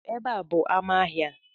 Ọ bụ ebe a bụ amá ahịa a?